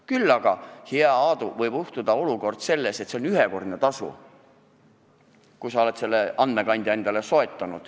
Küll aga, hea Aadu, võib juhtuda, et sul tuleb maksta ühekordne tasu, kui sa oled endale andmekandja soetanud.